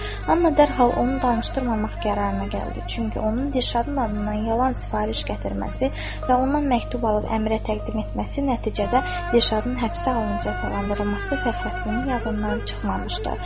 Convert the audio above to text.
Amma dərhal onu danışdırmamaq qərarına gəldi, çünki onun Dirşadın adından yalan sifariş gətirməsi və ondan məktub alıb əmirə təqdim etməsi nəticədə Dirşadın həbsə alınca cəzalandırılması Fəxrəddinin yadından çıxmamışdı.